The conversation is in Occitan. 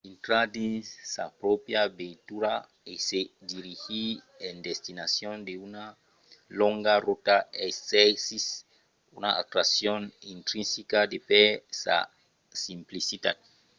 intrar dins sa pròpria veitura e se dirigir en destinacion d'una longa rota exercís una atraccion intrinsica de per sa simplicitat